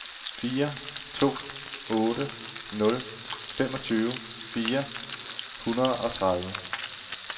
fire to otte nul femogtyve fire hundrede og tredive